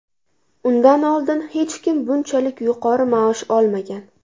Undan oldin hech kim bunchalik yuqori maosh olmagan.